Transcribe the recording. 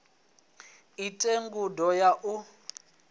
i ite ngudo ya u